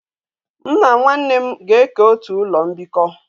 M na nwa nne m ga eke otu ulo mbiko